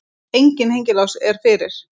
Enginn hengilás er fyrir.